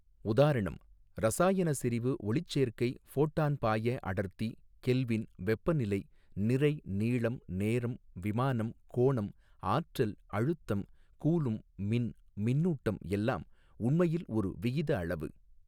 உதாரணம் இரசாயன செறிவு ஒளிச்சேர்க்கை ஃபோட்டான் பாயஅடர்த்தி கெல்வின் வெப்பநிலை நிறை நீளம் நேரம் விமானம் கோணம் ஆற்றல் அழுத்தம் கூலும் மின் மின்னூட்டம் எல்லாம் உண்மையில் ஒரு விகித அளவு.